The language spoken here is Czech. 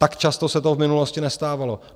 Tak často se to v minulosti nestávalo.